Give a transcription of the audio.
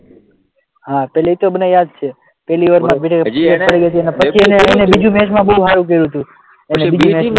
હા એતો મને યાદ છે પછી બીજી મેચમાં બહુ સારું કર્યું હતું બીજી